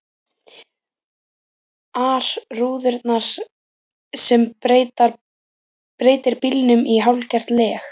ar rúðurnar sem breytir bílnum í hálfgert leg.